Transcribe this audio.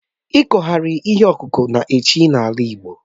Ikughari ihe ọkụkụ na-achị n'ala Igbo